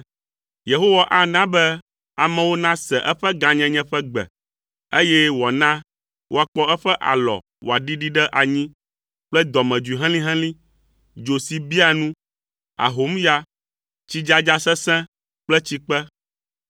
Yehowa ana be amewo nase eƒe gãnyenye ƒe gbe, eye wòana woakpɔ eƒe alɔ wòaɖiɖi ɖe anyi kple dɔmedzoe helĩhelĩ, dzo si biaa nu, ahomya, tsidzadza sesẽ kple tsikpe.